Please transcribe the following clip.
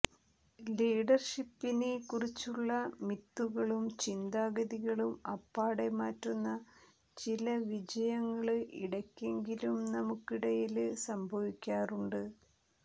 ലീഡര്ഷിപ്പിനെ കുറിച്ചുള്ള മിത്തുകളും ചിന്താഗതികളും അപ്പാടെ മാറ്റുന്ന ചില വിജയങ്ങള് ഇടയ്ക്കെങ്കിലും നമുക്കിടയില് സംഭവിക്കാറുണ്ട്